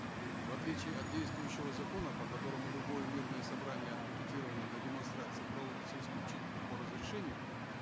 в отличие от действующего закона по которому любое мирное собрание от пикетирования до демонстраций проводится исключительно по разрешению